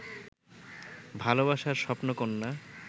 ভালোবাসার স্বপ্নকন্যা